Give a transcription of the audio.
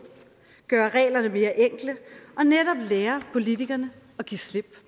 gøre reglerne mere enkle og netop lære politikerne at give slip